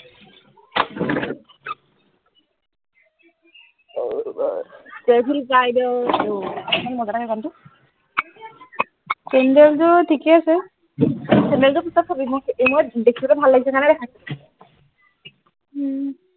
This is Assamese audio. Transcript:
চেণ্ডেল যোৰ ঠীকেই আছে চেণ্ডেল পিছত চাবি সই দেখিবলে ভাল লাগিছে কাৰণে দেখিছো উম